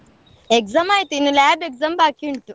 Exam ಆಯ್ತು ಇನ್ನು lab exam ಬಾಕಿ ಉಂಟು.